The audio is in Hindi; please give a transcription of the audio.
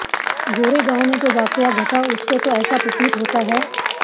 गोरेगांव में जो वाकया घटा उससे तो ऐसा प्रतीत होता है